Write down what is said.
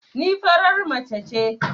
Ni farar mace ce